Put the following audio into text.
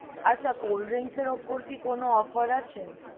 আচ্ছা cold drinks এর ওপর কি কোনো offer আছে?